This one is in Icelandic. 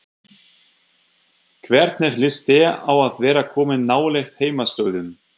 Hvernig líst þér á að vera komin nálægt heimaslóðum?